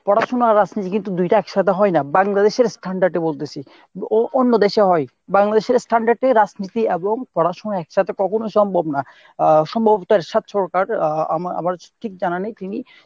পড়াশুনা আর রাজনীতি কিন্তু দুইটা একসাথে হয় না বাংলদেশের standard এ বলতেছি ও~ অন্য দেশে হয় বাংলাদেশের standard এ রাজনীতি এবং পড়াশুনা কখনোই একসাথে সম্বভ না। আহ আহ আম~ আমার ঠিক জানা নেই তিনি